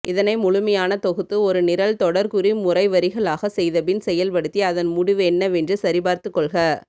இதனை முழுமையான தொகுத்து ஒரு நிரல்தொடர்குறிமுறைவரிகளாக செய்தபின் செயல்படுத்தி அதன்முடிவுஎன்னவென்று சரிபார்த்துகொள்க